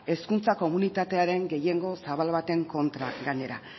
hezkuntza komunitatearen gehiengo zabal baten kontra gainera